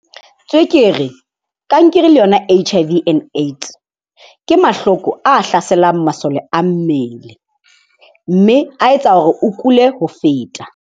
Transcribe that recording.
Tswekere, kankere le yona H_I_V and AIDS, ke mahloko a hlaselang masole a mmele mme a etsa hore o kule ho feta.